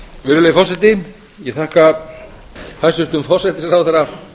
virðulegi forseti ég þakka hæstvirtum forsætisráðherra